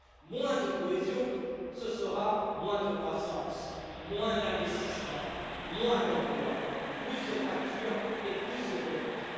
Moins de cohésion, ce sera moins de croissance, moins d'investissements, moins d'emplois, plus de fractures et plus de pauvreté.